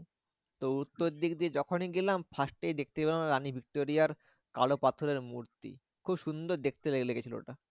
তো উত্তর দিক দিয়ে যখনই গেলাম first এই দেখতে পেলাম রানী ভিক্টোরিয়ার কালো পাথরের মূর্তি খুব সুন্দর দেখতে লেগেছিলো ওটা।